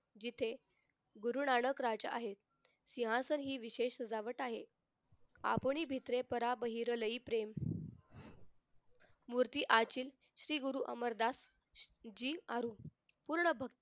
जिथे गुरुनायक राजा आहेत यासाठी हि विशेष सजावट आहे भित्रे पराब भिरलही प्रेम मूर्ती आचिल श्री गुरु अमरदास जी आरु पूर्ण भ